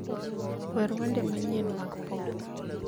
wer wende manyien mag pop